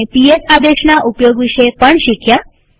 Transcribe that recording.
આપણે પીએસ આદેશના ઉપયોગ વિશે પણ શીખ્યા